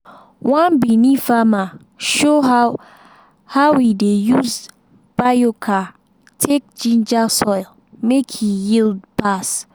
one benue farmer show how how e dey use biochar take ginger soil make e yield pass.